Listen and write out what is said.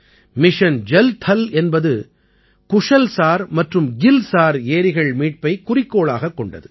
mission Jal Thal என்பது குஷல் சார் மற்றும் கில் சார் ஏரிகள் மீட்பைக் குறிக்கோளாகக் கொண்டது